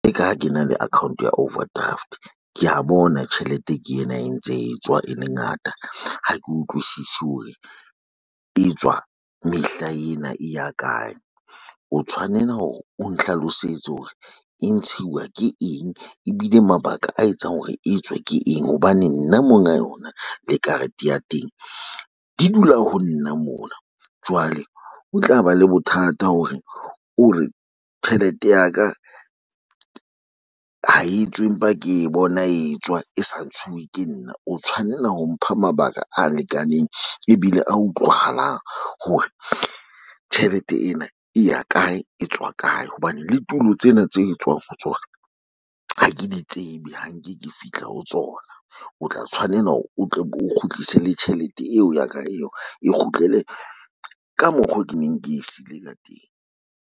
Tjeka ka ha ke na le account ya overdraft, ke ya bona tjhelete ke ena e ntse e tswa e le ngata. Ha ke utlwisisi hore e tswa mehla ena e ya kae. O tshwanela hore o nhlalosetse hore e ntshiwa ke eng ebile mabaka a etsang hore e tswe ke eng hobane nna monga yona le karete ya teng di dula ho nna mona, jwale ho tla ba le bothata hore o re tjhelete ya ka ha e tswe empa ke bona e tswa e sa ntshuwe ke nna o tshwanela ho mpha mabaka a lekaneng ebile a utlwahalang hore tjhelete ena e ya kae, e tswa kae. Hobane le tulo tsena tse tswang ho tsona ha ke di tsebe ha nke ke fihla ho tsona, o tla tshwanela hore o tle o kgutlise le tjhelete eo ya ka eo. E kgutlele ka mokgo ke neng ke e seile ka teng.